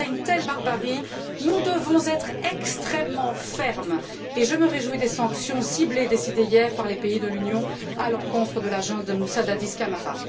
Face à une telle barbarie, nous devons être extrêmement fermes et je me réjouis des sanctions ciblées décidées hier par les pays l'Union à l'encontre de la junte de Moussa Dadis Camara.